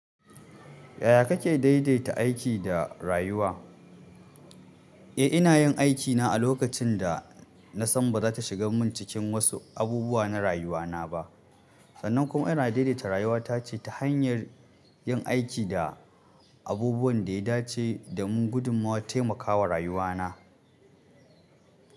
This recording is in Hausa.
Yaya kake daidaita aiki da rayuwa? Eh, ina yin aikina a lokacin da na san ba za ta shiga mun cikin wasu abubuwa na rayuwana ba. Sannan kuma ina daidaita rayuwata ce ta hanyar yin aiki da abubuwan da ya dace domin gudummawa taimakawa rayuwana.